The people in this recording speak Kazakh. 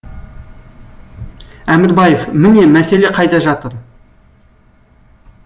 әмірбаев міне мәселе қайда жатыр